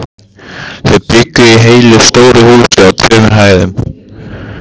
Þau bjuggu í heilu stóru húsi á tveimur hæðum.